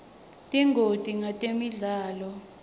tingoti ngetemidlalo